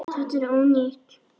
Þetta er ónýtt.